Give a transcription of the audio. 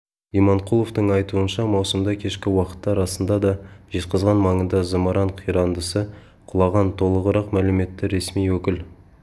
иманқұловтың айтуынша маусымда кешкі уақытта расында да жезқазған маңына зымыран қирандысы құлаған толығырық мәліметті ресми өкіл